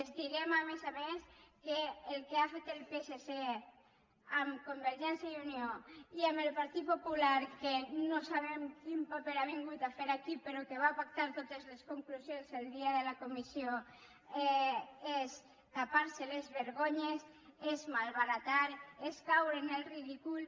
els direm a més a més que el que ha fet el psc amb convergència i unió i amb el partit popular que no sabem quin paper ha vingut a fer aquí però que va pactar totes les conclusions el dia de la comissió és tapar se les vergonyes és malbaratar és caure en el ridícul